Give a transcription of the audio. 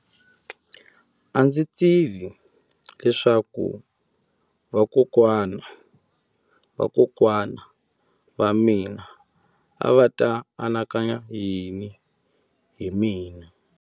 A ndzi tivi leswaku vakokwana-va-vakokwana va mina a va ta anakanya yini hi mina.